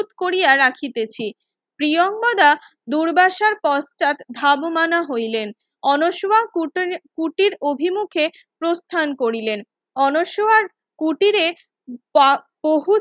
Korea রাখিতেছি প্রিয়াঙ্গদা দুর্বাসার পশ্চাৎ ধাবমান হইলেন আনসোওয়া কুটির অভিমুখে প্রস্থান করিলেনআনসোয়ার কুটিরে বহু